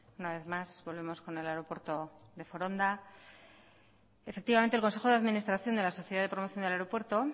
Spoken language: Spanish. una vez más volvemos con el aeropuerto de foronda efectivamente el consejo de administración de la sociedad de promoción del aeropuerto